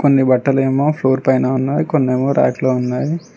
కోన్ని బట్టలేమో ఫ్లోర్ పైన ఉన్నాయి కొన్ని ఏమో ర్యాక్ లో ఉన్నాయి.